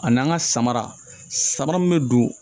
A n'an ka samara samara min bɛ don